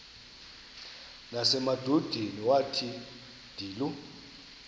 nasemadodeni wathi ndilu